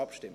Gut